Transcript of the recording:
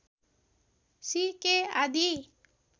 सि K आदि